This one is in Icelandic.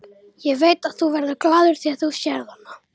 Ég veit að þú verður glaður þegar þú sérð hana.